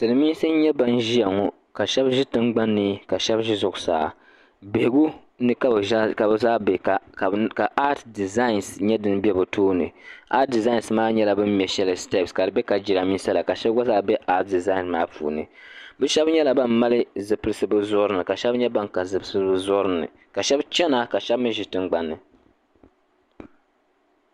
Silimiinsi n nyɛ ban ʒia ŋɔ ka sheba ʒi tingbani ka sheba ʒi zuɣusaa bihigu ni ka bɛ zaa be ka aati dizaani nima be bɛ tooni aati dizaani maa nyɛla bini mɛ sheli sitepsi ka di be ka jirambisa la ka sheba gba be aati dizaani maa puuni bɛ sheba nyɛla ban mali zipilsi bɛ zuɣuri ni ka sheba nyɛ ban ka zipilsi bɛ zuɣuri ni ka sheba chena ka sheba ʒi tingbani.